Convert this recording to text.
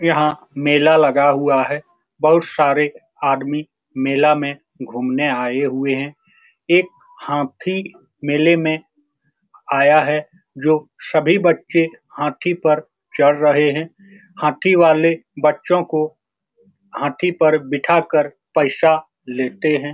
यहाँ मेला लगा हुआ है बहुत सारे आदमी मेला मे घुमने आए हुए है एक हाथी मेले मे आया है जो सभी बचे हाथी पर चढ़ रहे है हाथी वाले बच्चों को हाथी पर बैठा कर पैसा लेते है।